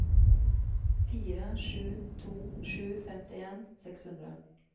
fire sju to sju femtien seks hundre